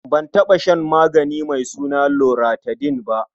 Ban taɓa shan magani mai suna loratadin ba.